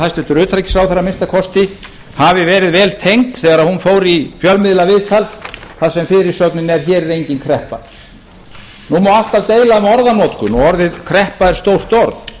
hæstvirtur utanríkisráðherra að minnsta kosti hafi verið vel tengd þegar hún fór í fjölmiðlaviðtal þar sem fyrirsögnin er hér er engin kreppa nú má alltaf deila um orðanotkun og orðið kreppa er stórt orð